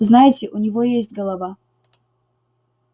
знаете у него есть голова